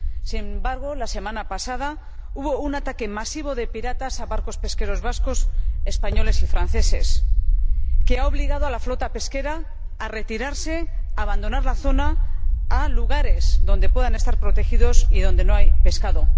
Sin embargo, la semana pasada hubo un ataque masivo de piratas a barcos pesqueros vascos, españoles y franceses, que ha obligado a la flota pesquera a abandonar la zona y retirarse a lugares donde puedan estar protegidos, pero donde no hay pescado.